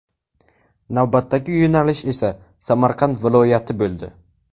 Navbatdagi yo‘nalish esa Samarqand viloyati bo‘ldi.